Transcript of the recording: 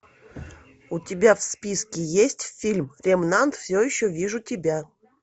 у тебя в списке есть фильм ремнант все еще вижу тебя